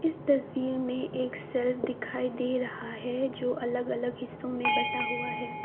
इस तस्वीर में एक शेल्फ दिखाई दे रहा है जो अलग अलग हिस्सों में बंटा हुआ है।